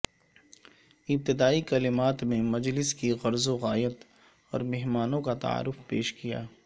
ابتدائی کلمات میں مجلس کی غرض و غایت اور مہمانوں کا تعارف پیش کیا